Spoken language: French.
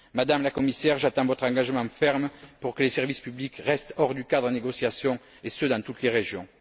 Madame la Commissaire, j'attends votre engagement ferme pour que les services publics restent hors du cadre des négociations et ce, dans toutes les régions.